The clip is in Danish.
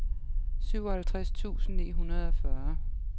syvoghalvtreds tusind ni hundrede og fyrre